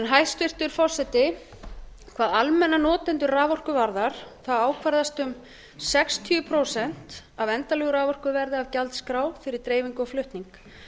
hæstvirtur forseti hvað almenna notendur raforku varðar ákvarðast um sextíu prósent af endanlegu raforkuverði af gjaldskrá fyrir dreifingu og flutning